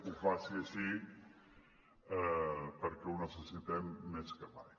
ho faci així perquè ho necessitem més que mai